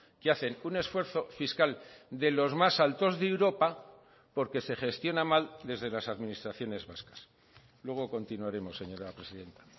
que hacen un esfuerzo fiscal de los más altos de europa porque se gestiona mal desde las administraciones vascas luego continuaremos señora presidenta